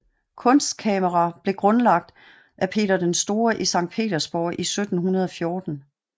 Kunstkamera blev grundlagt af Peter den Store i Sankt Petersborg i 1714